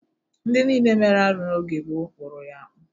Ndị niile mere arụ n'oge gboo kpụrụ ya akpụ.